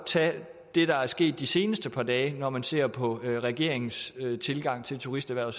tage det der er sket i de seneste par dage når man ser på regeringens tilgang til turisterhvervet